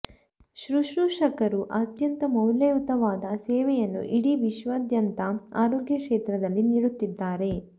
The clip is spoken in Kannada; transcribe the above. ಶುಶ್ರೂಷಕರು ಅತ್ಯಂತ ಮೌಲ್ಯಯುತವಾದ ಸೇವೆಯನ್ನು ಇಡೀ ವಿಶ್ವದಾದ್ಯಂತ ಆರೋಗ್ಯ ಕ್ಷೇತ್ರದಲ್ಲಿ ನೀಡುತ್ತಿದ್ದಾರೆ